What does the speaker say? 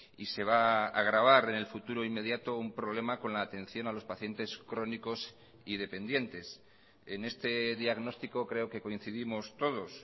y se va agravar en el futuro inmediato un problema con la atención a los pacientes crónicos y dependientes en este diagnóstico creo que coincidimos todos